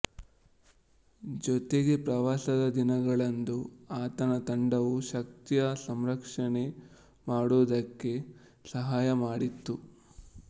ಜೊತೆಗೆ ಪ್ರವಾಸದ ದಿನಗಳಂದು ಆತನ ತಂಡವು ಶಕ್ತಿಯ ಸಂರಕ್ಷಣೆ ಮಾಡುವುದಕ್ಕೆ ಸಹಾಯ ಮಾಡಿತು